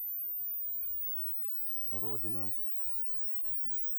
родина